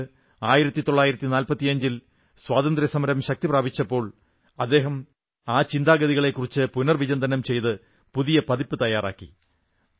പിന്നീട് 1945 ൽ സ്വാതന്ത്ര്യസമരം ശക്തി പ്രാപിച്ചപ്പോൾ അദ്ദേഹം ആ ചിന്താഗതികളെക്കുറിച്ച് പുനർവിചിന്തനം ചെയ്ത് പുതിയ പതിപ്പ് തയ്യാറാക്കി